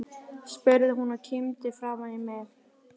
spurði hún og kímdi framan í mig.